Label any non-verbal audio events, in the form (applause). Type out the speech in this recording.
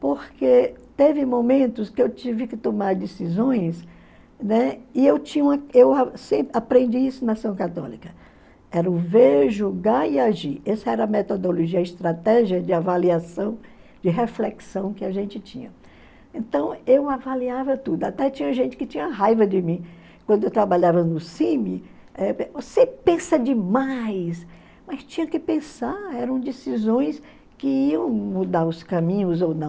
Porque teve momentos que eu tive que tomar decisões, né, e eu tinha uma (unintelligible) e aprendi isso na ação católica. Era o ver, julgar e agir. Essa era a metodologia, a estratégia de avaliação de reflexão que a gente tinha. Então eu avaliava tudo, até tinha gente que tinha raiva de mim. Quando eu trabalhava no (unintelligible) Você pensa demais, mas tinha que pensar eram decisões que iam mudar os caminhos ou não